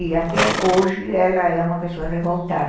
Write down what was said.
E até hoje ela é uma pessoa revoltada.